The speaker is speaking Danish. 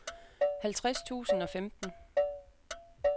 halvtreds tusind og femten